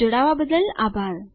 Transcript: જોડાવા બદ્દલ આભાર